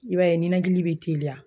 I b'a ye nɛnɛnakili bɛ teliya.